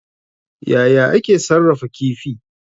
Yaya ake sarrafa kifi?